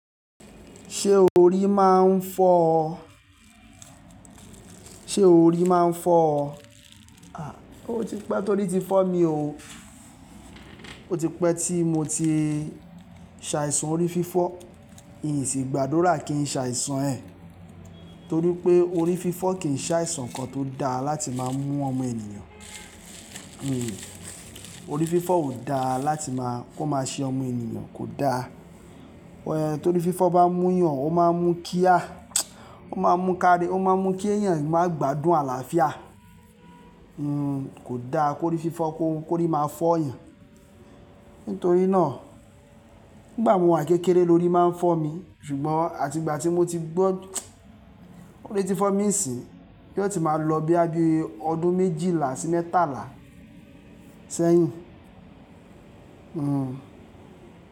Ṣé orí máa ń fọ́ ọ? Ṣé orí máa ń fọ́ ọ? Ó ti pẹ́ torí ti fọ́ mi ò o. Ó tipẹ́ tí mo ti ṣe àìsàn orí fífọ́ ìgbádùrà kí n ṣàìsàn ẹ̀ torí pé orí fífọ́ kì í ṣàìsàn kan tó dá láti máa mú ọmọ ènìyàn. Orí fífọ́ ò da láti máa kó máa ṣe ọmọ ènìyàn kò da. Tó rí fífọ́ bá múyàn, ó máa mú kí a, ó máa mú ká, ó máa mú kí ẹ̀yàn má gbádùn àlàáfíà. Kò da kó rí fífọ́ kó, kó rí máa fọ́ èèyàn. Nítorí ná nígbà mo wà ń kékeré lórí máa fọ́mi ṣùgbọ́n àti gbà tí mo ti gbọ́n orí ti fọ́mi sin yó ti má lọ bóyá bí ọdún méjìlá sí mẹ́tàlá sẹ́yìn.